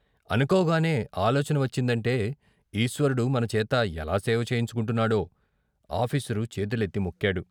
అనుకోగానే ఆలోచన వచ్చిందంటే ఈశ్వరుడు మనచేత ఎలా సేవ చేయించుకుంటున్నాడో " ఆఫీసరు చేతులెత్తి మొక్కాడు.